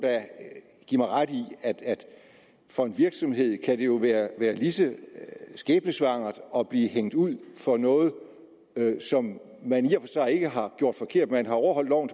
give mig ret i at for en virksomhed kan det jo være lige så skæbnesvangert at blive hængt ud for noget som man i og sig ikke har gjort forkert man har overholdt loven